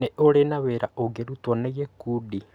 Nĩ ũrĩ Na wĩra ungĩrutwo nĩ gĩkundi?